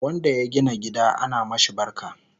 wanda ya gina gida ana mashi barka